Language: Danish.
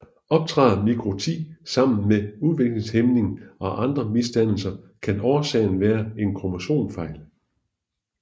Optræder mikroti sammen med udviklingshæmning og andre misdannelser kan årsagen være en kromosomfejl